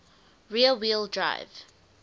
rear wheel drive